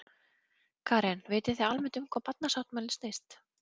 Karen: Vitið þið almennt um hvað barnasáttmálinn snýst?